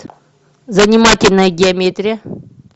занимательная геометрия